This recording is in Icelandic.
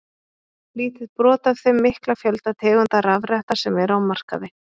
Lítið brot af þeim mikla fjölda tegunda rafretta sem eru á markaði.